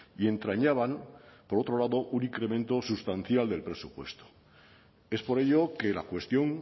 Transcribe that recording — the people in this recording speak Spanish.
y entrañaban por otro lado un incremento sustancial del presupuesto es por ello que la cuestión